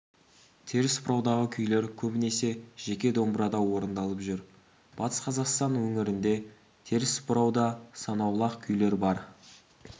теріс бұраудағы күйлер көбінесе жеке домбырада орындалып жүр батыс қазақстан өңірінде теріс бұрауда санаулы-ақ күйлер бар